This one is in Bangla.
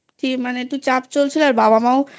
মানে একটু চাপ চলছিল তো আর বাবামা ও